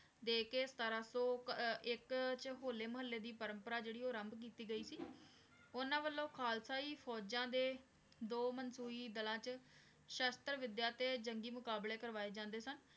ਦੇ ਕੇ ਸਤਰਾਂ ਸੂ ਏਇਕ ਵਿਚ ਹੋਲੇ ਮੁਹਾਲੀ ਦੀ ਜੇਰੀ ਪਰਮ੍ਪਰਾ ਊ ਆਰੰਭ ਕੀਤੀ ਗਈ ਸੀ ਓਨਾਂ ਵਲੋਂ ਖਾਲਸਾ ਈ ਫੋਜਾਂ ਦਾ ਦੋ ਮੰਸੋਈ ਦਾਲ੍ਲਾਂ ਚ ਸ਼ਾਸ਼ਤਰ ਵਿਦ੍ਯਾ ਤੇ ਜੰਗੀ ਮੁਕ਼ਾਬ੍ਲਾਯ ਕਰਵਾਯ ਜਾਂਦੇ ਸਨ